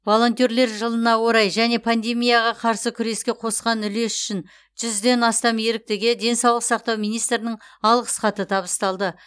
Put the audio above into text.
волонтерлер жылына орай және пандемияға қарсы күреске қосқан үлесі үшін жүзден астам еріктіге денсаулық сақтау министрінің алғыс хаты табысталды